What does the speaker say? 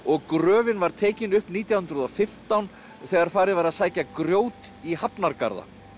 gröfin var tekin upp nítján hundruð og fimmtán þegar farið var að sækja grjót í hafnargarða